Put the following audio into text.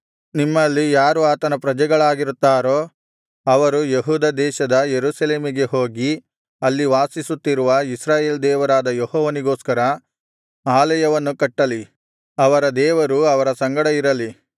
ನಿಮ್ಮಲ್ಲಿ ಯಾರು ಆತನ ಪ್ರಜೆಗಳಾಗಿರುತ್ತಾರೋ ಅವರು ಯೆಹೂದ ದೇಶದ ಯೆರೂಸಲೇಮಿಗೆ ಹೋಗಿ ಅಲ್ಲಿ ವಾಸಿಸುತ್ತಿರುವ ಇಸ್ರಾಯೇಲ್ ದೇವರಾದ ಯೆಹೋವನಿಗೋಸ್ಕರ ಆಲಯವನ್ನು ಕಟ್ಟಲಿ ಅವರ ದೇವರು ಅವರ ಸಂಗಡ ಇರಲಿ